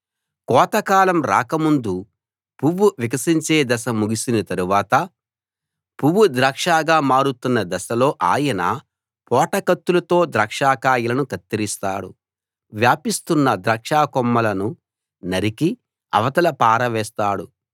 కోతకాలం రాకముందు పువ్వు వికసించే దశ ముగిసిన తర్వాత పువ్వు ద్రాక్షగా మారుతున్న దశలో ఆయన పోటకత్తులతో ద్రాక్షకాయలను కత్తిరిస్తాడు వ్యాపిస్తున్న ద్రాక్ష కొమ్మలను నరికి అవతల పారవేస్తాడు